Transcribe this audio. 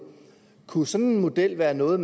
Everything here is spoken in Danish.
kunne sådan en model være noget